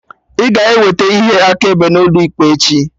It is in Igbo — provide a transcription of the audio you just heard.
Ị ga-eweta ihe akaebe gị n'ụlọ ikpe echi?